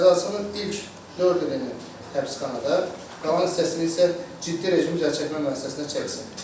Cəzasının ilk 4 ilini həbsxanada, qalan hissəsini isə ciddi rejimli cəzaçəkmə müəssisəsində çəksin.